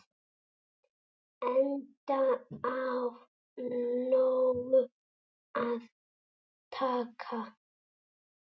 Enda af nógu að taka.